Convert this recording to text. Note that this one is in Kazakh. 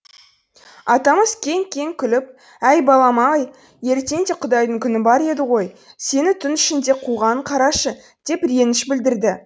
атамыз кеңк кеңк күліп әй балам ай ертең де құдайдың күні бар еді ғой сені түн ішінде қуғанын қарашы деп реніш білдірді